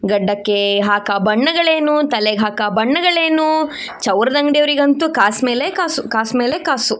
ಗಡ್ಡಕ್ಕೆ ಹಾಕೋ ಬಣ್ಣಗಳೇನು ತಲೆಗೆ ಹಾಕೋ ಬಣ್ಣಗಳೇನು ಚೌರದ ಅಂಗಡಿಯವರಿಗಂತೂ ಕಾಸು ಮೇಲೆ ಕಾಸು ಕಾಸು ಮೇಲೆ ಕಾಸು.